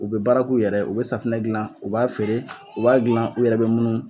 U be baara kuw yɛrɛ ye u be safinɛ gilan u b'a feere u b'a gilan u yɛrɛ be munnu